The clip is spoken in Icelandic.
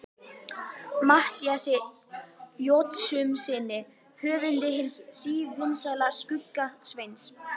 Matthíasi Jochumssyni höfundi hins sívinsæla Skugga-Sveins.